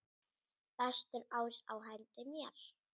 Bestur ás á hendi mér.